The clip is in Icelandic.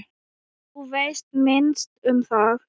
Þú veist minnst um það.